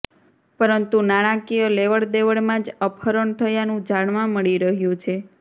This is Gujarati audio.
પરંતુ નાણાંકીય લેવડદેવડમાં જ અપહરણ થયાનું જાણવા મળી રહ્યું છે